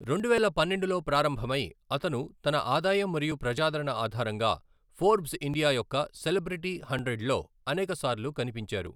రెండువేల పన్నెండులో ప్రారంభమై, అతను తన ఆదాయం మరియు ప్రజాదరణ ఆధారంగా ఫోర్బ్స్ ఇండియా యొక్క సెలబ్రిటీ హండ్రెడ్లో అనేక సార్లు కనిపించారు.